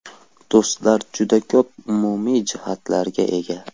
Do‘stlar juda ko‘p umumiy jihatlarga ega.